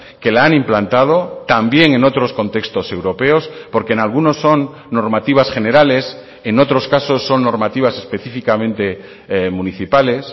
que la han implantado también en otros contextos europeos porque en algunos son normativas generales en otros casos son normativas específicamente municipales